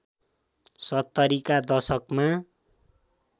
७० का दशकमा